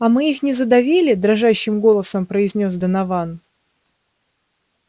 а мы их не задавили дрожащим голосом произнёс донован